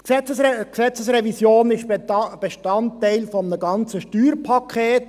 Die Gesetzesrevision ist Bestandteil eines ganzen Steuerpakets.